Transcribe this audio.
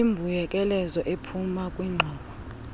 imbuyekezo ephuma kwingxowa